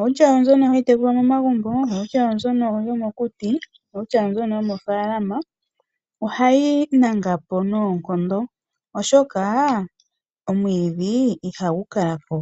outya oyo mbyono hayi tekulwa momomagumbo, outya oyo mbyono yomokuti, outya oyo mbyono yomoofaalama ohayi nangapo noonkondo oshoka omwiidhi ihagu kala po.